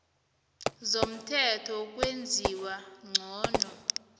zomthetho wokwenziwa ngcono